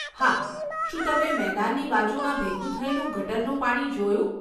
હા, શું તમે મેદાનની બાજુમાં ભેગું થયેલું ગટરનું પાણી જોયું?